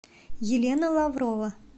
елена лаврова